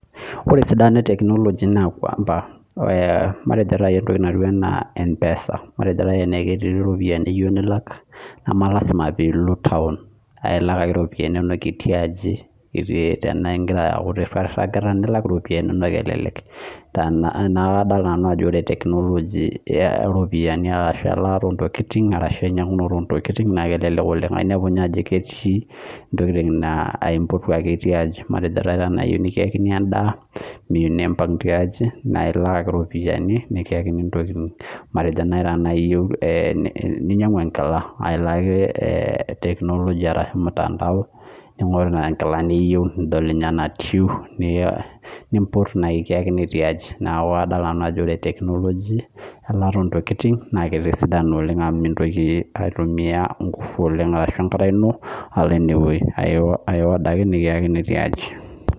Ore esidano ee tekinoloji matejo najii mpesa matejo ketii eropiani niyieu nilak nemelasima pee elo town elak ake eropiani etii atua aji enagira akuu eruat etii airura elak ake eropiani enono neeku kadol nanu Ajo ore tekinoloji oropiani elataa oo ntokitin ashu enkinyiangunoto oo ntokitin naa kelelek oleng enepu ninye Ajo ketii ntokitin naa empotu ake etii aji matejo eyieu nikiyaki endaa tiaji mimpag elak ake eropiani nikiyakini ntokitin matejo naaji eyieu ninyiangu enkila naa elo mutandao ning'oru enkila niyieu nidol enatieu nimpotu nikiyakini tiaji neeku kadol nanu Ajo ore tekinoloji elataa oo ntokitin naa etisadana oleng amu mintoki aitumia nguvu enaa enkata eno alo enewueji eorder ake nikiyakini tiaji